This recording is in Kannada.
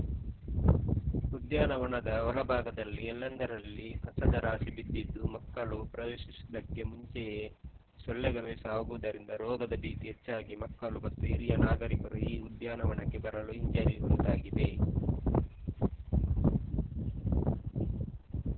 ಉದ್ಯಾನವನದ ಒಳಭಾಗದಲ್ಲಿ ಎಲ್ಲೆಂದರಲ್ಲಿ ಕಸದ ರಾಶಿ ಬಿದ್ದಿದ್ದು ಮಕ್ಕಳು ಪ್ರವೇಶಿಸುವುದಕ್ಕೆ ಮುಂಚೆಯೇ ಸೊಳ್ಳೆಗಳೆ ಸಾಗುವುದರಿಂದ ರೋಗದ ಭೀತಿ ಹೆಚ್ಚಾಗಿ ಮಕ್ಕಳು ಮತ್ತು ಹಿರಿಯ ನಾಗರಿಕರು ಈ ಉದ್ಯಾನವನಕ್ಕೆ ಬರಲು ಹಿಂಜರಿಯುವಂತಾಗಿದೆ